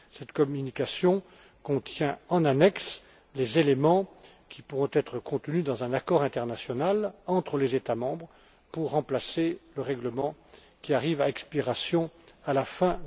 Cette communication contient en annexe les éléments qui pourront figurer dans un accord international entre les États membres pour remplacer le règlement qui arrive à expiration à la fin